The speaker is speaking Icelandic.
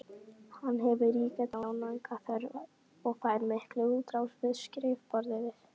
Hann hefur ríka tjáningarþörf og fær mikla útrás við skrifborðið.